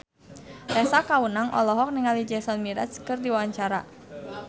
Tessa Kaunang olohok ningali Jason Mraz keur diwawancara